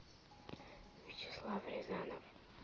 вячеслав рязанов